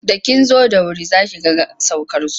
Da kin zo da wuri za ki ga saukarsu.